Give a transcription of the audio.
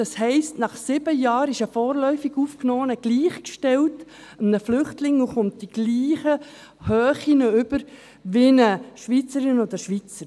Das heisst: Nach sieben Jahren ist ein vorläufig Aufgenommener einem Flüchtling gleichgestellt und erhält in der gleichen Höhe Unterstützung wie eine Schweizerin oder ein Schweizer.